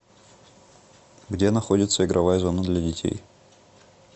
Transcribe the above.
где находится игровая зона для детей